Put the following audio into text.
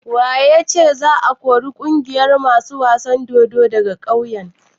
Wa ya ce za a kori ƙungiyar masu wasan dodo daga kauyen?